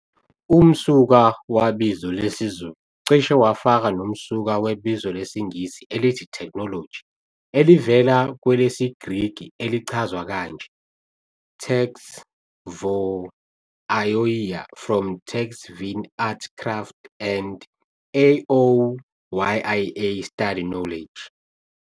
Umsuka wabizo lesizulu cishe wafaka noMsuka webizo lwesingisi elithi "Technology" elivela kwelesiGriki elichazwa kanje - "Τεχνολογία, from τέχνη 'art, craft' and -λογία, 'study, knowledge'".